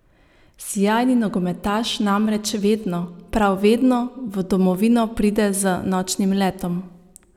Sijajni nogometaš namreč vedno, prav vedno v domovino pride z nočnim letom!